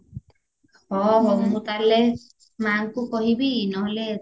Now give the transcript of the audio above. ହ ହଉ ମୁଁ ତାହେଲେ ମାଙ୍କୁ କହିବି ନହେଲେ